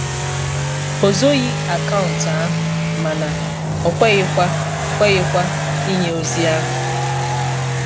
O zoghi akaụntụ ahụ mana o kweghịkwa kweghịkwa inye ozi ahu